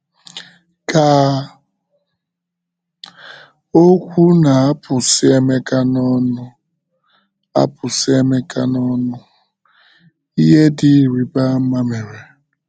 Ka okwu na - apụsị Emeka n’ọnụ apụsị Emeka n’ọnụ, ihe dị ịrịba ama mere.